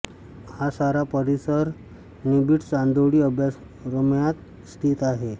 हा सारा परिसर निबीड चांदोळी अभयारण्यात स्थित आहे